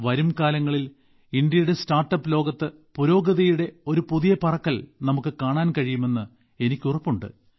വരും കാലങ്ങളിൽ ഇന്ത്യയുടെ സ്റ്റാർട്ടപ്പ് ലോകത്ത് പുരോഗതിയുടെ ഒരു പുതിയ പറക്കൽ നമുക്ക് കാണാൻ കഴിയുമെന്ന് എനിക്ക് ഉറപ്പുണ്ട്